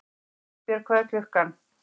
Eldbjörg, hvað er klukkan?